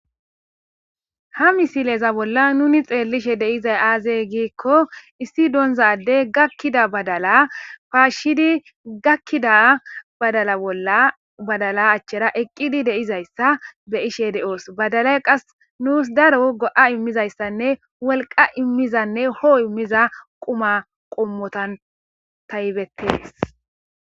ha misileza bolla nuni xeellishe deizay aazey giikko issi doonzaddey gakkida badala paashshidi gakkida badala bolla badala achchera eqqidi deizayssa be ishe de7oos badalay qas nuus daro go7a immizayssanne wolqa immizanne hoo immiza quma qommotan taybettees